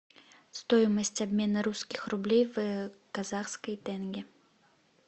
стоимость обмена русских рублей в казахские тенге